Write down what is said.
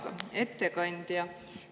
Hea ettekandja!